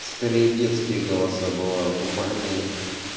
скорее детские голоса бывают у парней